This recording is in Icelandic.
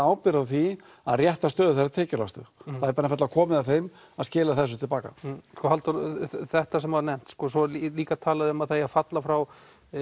ábyrgð á því að rétta stöðu þeirra tekjulægstu það er einfaldlega komið að þeim að skila þessu til baka Halldór þetta sem var nefnt og svo er líka talað um að það eigi að falla frá